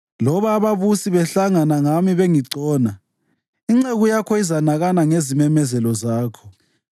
Loba ababusi behlangana ngami bengigcona, inceku yakho izanakana ngezimemezelo zakho.